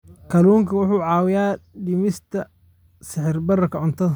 Kalluunku wuxuu caawiyaa dhimista sicir bararka cuntada.